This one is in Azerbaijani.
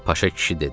Paşa kişi dedi: